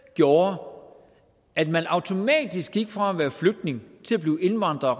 gjorde at man automatisk gik fra at være flygtning til at blive indvandrer og